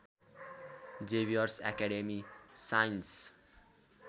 Xavier's Academy science